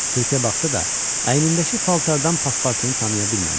Sirkə baxsa da, əynindəki paltardan Paspartunu tanıya bilmədi.